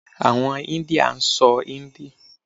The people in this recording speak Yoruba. Àwọn India sọ hindi.